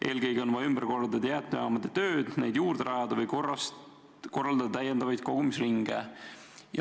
Eelkõige on vaja ümber korraldada jäätmejaamade tööd, neid juurde rajada või korraldada täiendavaid kogumisringe.